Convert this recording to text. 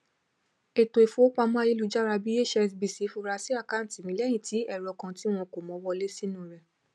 ètò ifowópamọ ayélujára tí cs] hsbc fura si àkáǹtì mi lẹyìn tí ẹrọ kan tí wọn kò mọ wọlé sínu rẹ